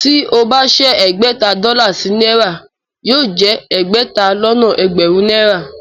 Tí ó bá ṣẹ́ ẹgbẹ̀ta dọ́là sí náírà yóò jẹ ẹgbẹ̀ta lọ́nà ẹgbẹ̀rún náírà